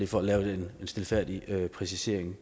for at lave en stilfærdig præcisering